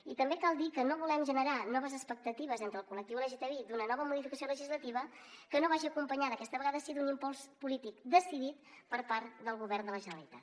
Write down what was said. i també cal dir que no volem generar noves expectatives entre el col·lectiu lgtbi d’una nova modificació legislativa que no vagi acompanyada aquesta vegada sí d’un impuls polític decidit per part del govern de la generalitat